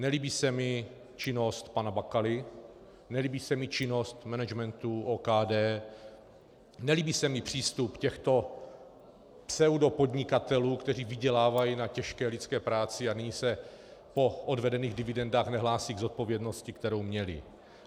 Nelíbí se mi činnost pana Bakaly, nelíbí se mi činnost managementu OKD, nelíbí se mi přístup těchto pseudopodnikatelů, kteří vydělávají na těžké lidské práci a nyní se po odvedených dividendách nehlásí k zodpovědnosti, kterou měli.